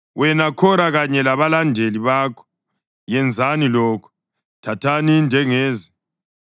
Wena, Khora, kanye labalandeli bakho yenzani lokhu: Thathani indengezi